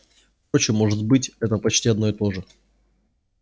впрочем может быть это почти одно и то же